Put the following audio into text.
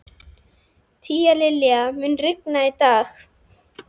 Tíalilja, mun rigna í dag?